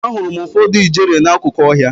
Ahụrụ m ụfọdụ ijere n'akụkụ ọhịa.